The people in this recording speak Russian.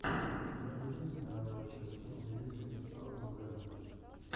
у тебя найдется первая часть сони мьюзик саус вево